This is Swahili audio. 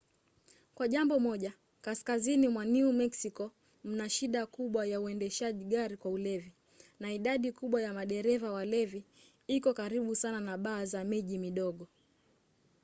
kwa jambo moja kaskazini mwa new meksiko mna shida kubwa ya uendeshaji gari kwa ulevi na idadi kubwa ya madereva walevi iko karibu sana na baa za miji midogo